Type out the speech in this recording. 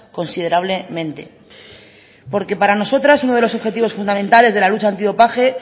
considerablemente porque para nosotras uno de los objetivos fundamentales de la lucha antidopaje